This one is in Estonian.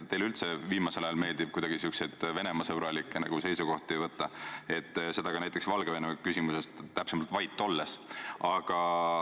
Teile üldse viimasel ajal meeldib kuidagi sihukesi Venemaa-sõbralikke seisukohti võtta, seda ka näiteks Valgevene küsimuses, täpsemalt vait olles.